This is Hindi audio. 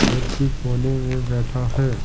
व्यक्ति कोने में बैठा है ।